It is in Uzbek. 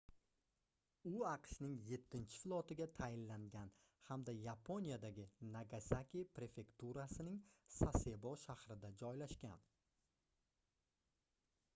u aqshning yettichi flotiga tayinlangan hamda yaponiyadagi nagasaki prefekturasining sasebo shahrida joylashgan